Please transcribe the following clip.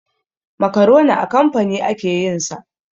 Makaroni a kamfani ake yin sa.